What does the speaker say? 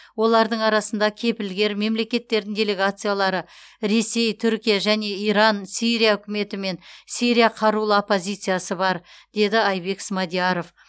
олардың арасында кепілгер мемлекеттердің делегациялары ресей түркия және иран сирия үкіметі мен сирия қарулы оппозициясы бар деді айбек смадияров